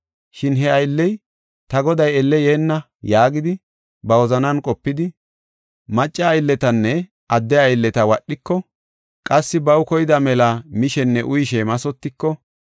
Shin he aylley, ‘Ta goday elle yeenna’ yaagidi ba wozanan qopidi, macca aylletanne adde aylleta wadhiko, qassi baw koyda mela mishenne uyishe mathotiko,